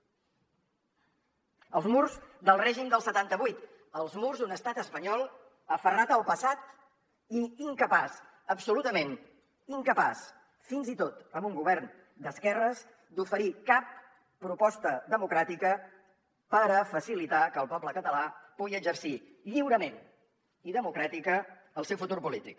els murs del règim del setanta vuit els murs d’un estat espanyol aferrat al passat i incapaç absolutament incapaç fins i tot amb un govern d’esquerres d’oferir cap proposta democràtica per a facilitar que el poble català pugui exercir lliurement i democràtica el seu futur polític